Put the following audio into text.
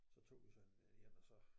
Så tog vi sådan øh en og så